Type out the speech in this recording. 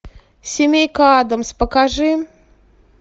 семейка аддамс покажи